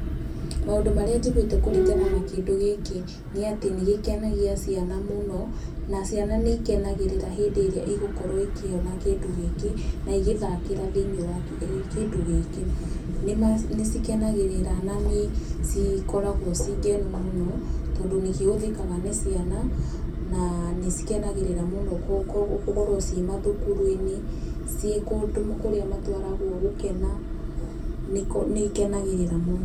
Maũndũ marĩa njiguĩte kũringana na kĩndũ gĩkĩ nĩ atĩ nĩ gĩkenagia ciana mũno, na ciana nĩ ikenagĩrĩra hĩndĩ ĩrĩa igokorwo ikĩona kĩndũ gĩkĩ na igĩthakĩra thĩinie wa kĩndũ gĩkĩ, nĩ ma nĩ cikenagĩrĩra na nĩ cikoragwo ci koragwo ci ngenu mũno, tondũ nĩ kĩhũthĩkaga na ciana na nĩ cikenagĩrĩra mũno gũkorwo ciĩ mathukuru-inĩ, ciĩ kũndũ kũrĩa matwaragwo gũkena nĩ ikenagĩrĩra mũno.